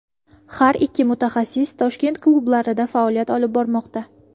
Har ikki mutaxassis Toshkent klublarida faoliyat olib bormoqda.